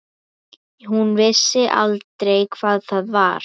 Hún vissi aldrei hvað það var.